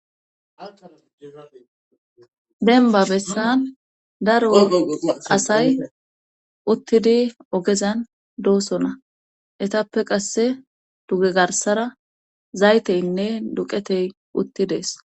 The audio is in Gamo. Abenba bessan daro asay uttidi ogezan doosona etappe qasse duge garsara zayteynne duqetey uttidees.